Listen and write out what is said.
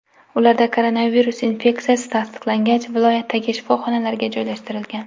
Ularda koronavirus infeksiyasi tasdiqlangach, viloyatdagi shifoxonalarga joylashtirilgan.